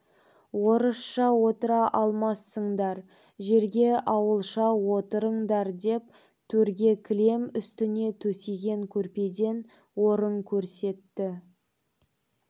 орысша отыра алмассыңдар жерге ауылша отырыңдар деп төрде кілем үстіне төсеген көрпеден орын көрсетті